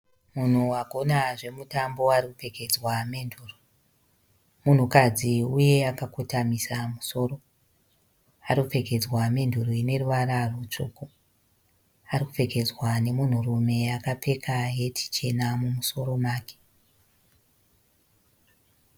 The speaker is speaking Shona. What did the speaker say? Munhu agona zvemutambo arikupfekedzwa menduru. Munhukadzi uye akakotamisa musoro . Arikupfekedzwa menduru ine ruvara rutsvuku. Arikupfekedzwa nemunhu rume akapfeka heti chena mumusoro make.